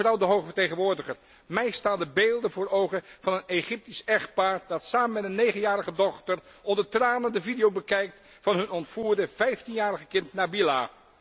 Mevrouw de hoge vertegenwoordiger, mij staan de beelden voor ogen van een Egyptisch echtpaar dat samen met een negenjarige dochter onder tranen de video bekijkt van hun ontvoerde 15 jarige kind Nabila.